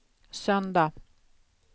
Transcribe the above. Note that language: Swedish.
söndag